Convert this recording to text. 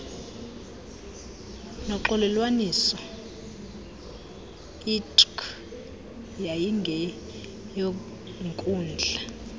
noxolelwaniso itrc yayingeyonkundla